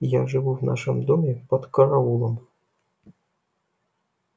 я живу в нашем доме под караулом